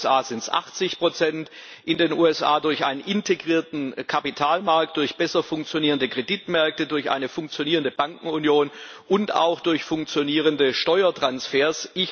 In den USA sind es 80 in den USA durch einen integrierten Kapitalmarkt, durch besser funktionierende Kreditmärkte, durch eine funktionierende Bankenunion und auch durch funktionierende Steuertransfers.